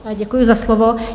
Děkuji za slovo.